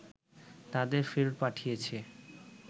তাদের ফেরত পাঠিয়েছে